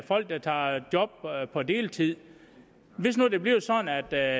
folk der tager job på deltid hvis nu det bliver sådan at der